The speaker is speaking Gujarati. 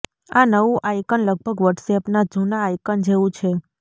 આ નવું આઇકન લગભગ વોટ્સએપના જુના આઇકન જેવું છે